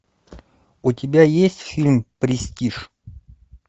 у тебя есть фильм престиж